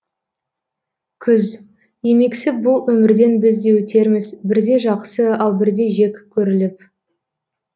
күз емексіп бұл өмірден біз де өтерміз бірде жақсы ал бірде жек көріліп